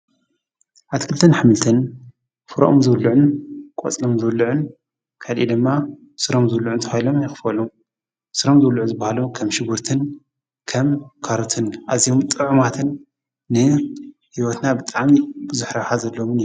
ኣትክልትን ኣሕምልትን ፍሪኦም ዝብልዑን ቆፅሎም ዝብሉዕን ካልእ ድማ ስሮም ዝብሉዑን ተባሂሎም ይክፈሉ፡፡ ሱሮም ዝብልዑ ዝባሃሉ ከም ሸጉርትን ከም ካሮትን ኣዝዮም ጥዑማትን ንሂወትና ብጣዕሚ ቡዙሕ ረብሓ ዘለዎም እዮም፡፡